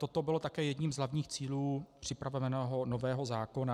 Toto bylo také jedním z hlavních cílů připraveného nového zákona.